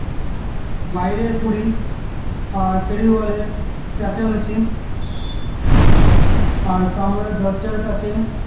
বাইরের coolie আর ফেরিওয়ালের চেঁচামেচি আর কামরার দরজার কাছে